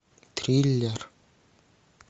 триллер